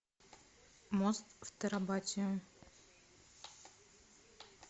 мост в терабитию